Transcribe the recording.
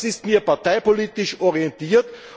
Das ist mir parteipolitisch orientiert.